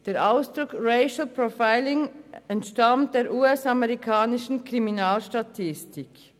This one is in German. Der Ausdruck Racial Profiling entstammt der US-amerikanischen Kriminalstatistik.